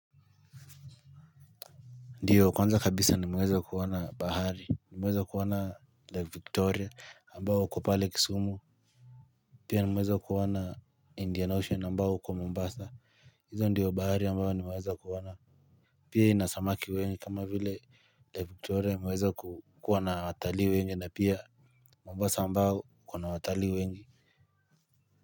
Ndio kwanza kabisa nimeweza kuona bahari, nimeweza kuona lake victoria ambao uko pale Kisumu pia nimeweza kuona indian ocean ambao uko Mombasa hizo ndiyo bahari ambao nimeweza kuona pia ina samaki wengi kama vile lake victoria imeweza kuwa na watalii wengi na pia Mombasa ambao kuna watali wengi. Muziki.